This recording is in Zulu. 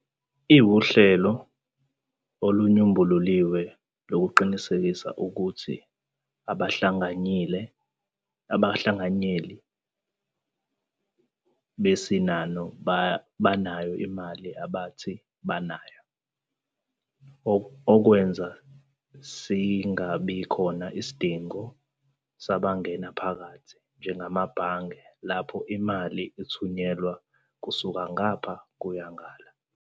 Iwuhlelo olunyombululiwe lokuqinisekisa ukuthi abahlanganyeli besinano banayo imali abathi banayo, okwenza singabikhona isidingo sabangena phakathi, njengamabhange, lapho imali ithunyelwa kusuka ngapha kuya ngale.